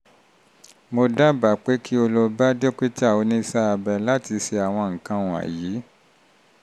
mo dábàá um pé kí o lọ bá dókítà um oníṣẹ́-abẹ láti ṣe àwọn nǹkan um wọ̀nyí